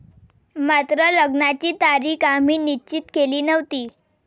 मात्र लग्नाची तारीख आम्ही निश्चित केली नव्हती.